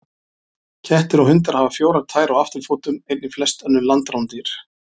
Kettir og hundar hafa fjórar tær á afturfótum, einnig flest önnur landrándýr.